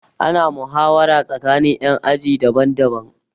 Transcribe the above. Ana muhawara tsakanin ƴan aji daban daban